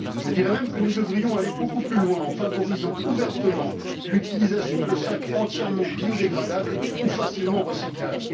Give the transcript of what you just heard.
Je dirais même que nous devrions aller beaucoup plus loin, en favorisant ouvertement l'utilisation de sacs entièrement biodégradables ou facilement recyclables.